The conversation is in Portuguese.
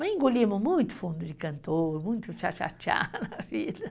Engolimos muito fundo de cantor, muito tchá-tchá-tchá na vida.